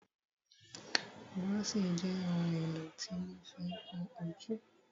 Búróṣì jẹ́ ohun èlò tí wọ́n ma fí ń kún ojú.